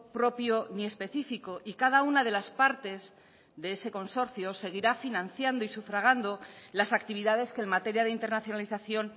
propio ni específico y cada una de las partes de ese consorcio seguirá financiando y sufragando las actividades que en materia de internacionalización